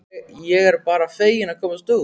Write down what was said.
Ég er bara fegin að komast út!